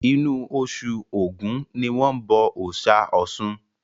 Inú osù ògún ni wọ́n bọ òòsà Ọ̀sun